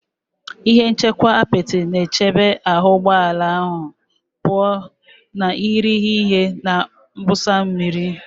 Ihe nchekwa apịtị na-echebe ahụ ụgbọ ala pụọ ​​na irighiri ihe na mwụsa mmiri